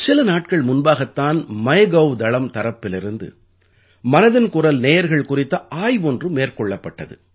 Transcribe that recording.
சில நாட்கள் முன்பாகத் தான் மைகவ் தளம் தரப்பிலிருந்து மனதின் குரல் நேயர்கள் குறித்த ஆய்வொன்று மேற்கொள்ளப்பட்டது